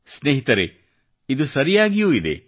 ಸ್ನೇಹಿತರೆ ಇದು ಸರಿಯಾಗಿಯೂ ಇದೆ